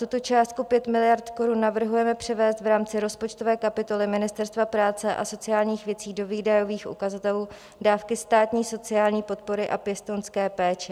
Tuto částku 5 miliard korun navrhujeme převést v rámci rozpočtové kapitoly Ministerstva práce a sociálních věcí do výdajových ukazatelů Dávky státní sociální podpory a pěstounské péče.